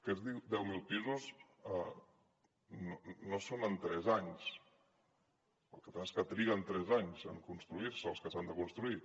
aquests deu mil pisos no són en tres anys el que passa és que triguen tres anys en construir se els que s’han de construir